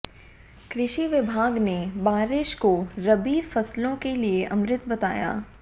कृषि विभाग ने बारिश को रबी फसलों के लिए अमृत बताया